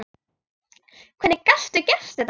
Hvernig gastu gert þetta?